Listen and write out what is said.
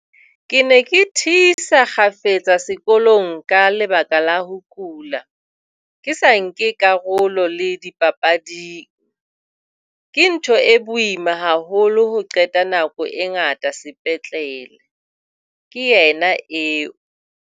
"Ke ne ke thisa kgafetsa sekolong ka lebaka la ho kula, ke sa nke karolo le dipapading. Ke ntho e boima haholo ho qeta nako e ngata sepetlele," ke yena eo.